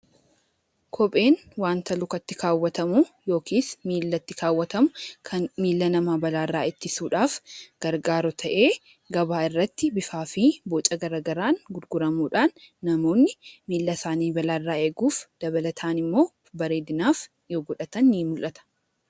Kopheen wanta lukatti kaawwatamu yookiis miilatti kaawwatamu kan miila namaa balaarraa ittisuudhaaf gargaaru ta'ee gabaa irratti bifaa fi boca garaagaraan gurguramuudhaan namoonni miila isaanii balaarraa eeguuf dabalataan immoo bareedinaaf yoo godhatan ni mul'ata.